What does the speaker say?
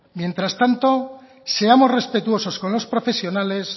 mientras tanto seamos respetuosos con los profesionales